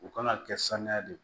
U kana kɛ sanuya de ye